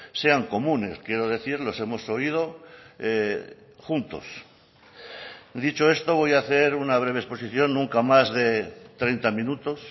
sean comunes quiero decir los hemos oído juntos dicho esto voy a hacer una breve exposición nunca más de treinta minutos